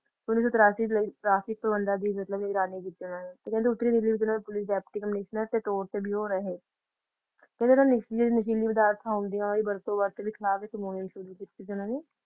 ਉੱਨੀ ਸੌ ਤਰਾਸੀ ਲਈ ਟ੍ਰੈਫਿਕ ਤੋੜਨਾ ਵੀ ਮਤਲਬ ਕਹਿੰਦੇ ਇਹਨਾਂ ਨੇ ਕੀਤੀਆਂ ਉੱਤਰੀ ਦਿੱਲੀ ਨਾਲ ਪੁਲਿਸ ਡਿੱਪਟੀ ਕਮਿਸ਼ਨਰ ਤੇ ਟੋਲ ਤੇ ਵੀ ਉਹ ਰਹੇ ਕਹਿੰਦੇ ਜਿਹੜੇ ਨਸ਼ੀ ਨਸ਼ੀਲੀ ਪਦਾਰਥਾਂ ਆਉਂਦੀਆਂ ਓਹਨਾ ਦੀ ਵਰਤੋਂ ਵਾਸਤੇ ਵੀ ਖਿਲਾਫ ਮੁਹਿੰਮ ਸ਼ੁਰੂ ਕੀਤੀ ਸੀ ਉਹਨਾਂ ਨੇ